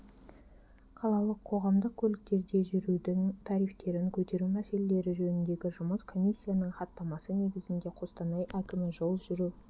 қалалық қоғамдық көліктерде жүрудің тарифтерін көтеру мәселелері жөніндегі жұмыс комиссиясының хаттамасы негізінде қостанай әкімі жол жүру